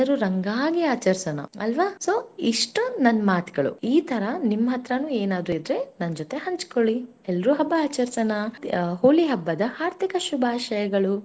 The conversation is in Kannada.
ಎಲ್ಲರೂ ರಂಗಾಗಿ ಆಚರಿಸೋಣ ಅಲ್ವ so ಇಷ್ಟು ನನ್ನ ಮಾತುಗಳು ಈ ತರ ನಿಮ್ಮಾ ಹತ್ರನು ಏನಾದ್ರು ಇದ್ರೆ ನನ್ ಜೊತೆ ಹಂಚಿಕೊಳ್ಳಿ ಎಲ್ಲರೂ ಹಬ್ಬ ಆಚರಿಸೋಣ, ಹೋಳಿ ಹಬ್ಬದ ಹಾರ್ದಿಕ ಶುಭಾಶಯಗಳು.